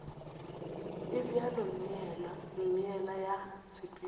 e bjalo meela ya tshepetšo